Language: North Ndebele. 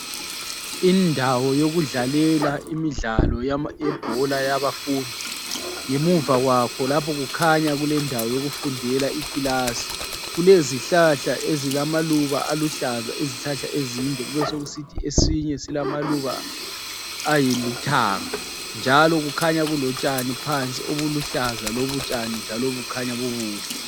Indawo yokudlalela imidlalo yebhola yabafundi. Ngemuva kwakho lapha kukhanya kulendawo yokufundela ikilasi. Kulezihlahla ezilamaluba aluhlaza, izihlahla ezinde kubesokusithi esinye silamaluba alithanga, njalo kukhanya kulotshani phansi obuluhlaza lobutshani njalo bukhanya bubuhle.